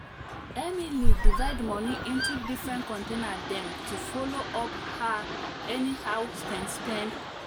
emily divide money into different container dem to follow up her anyhow spend spend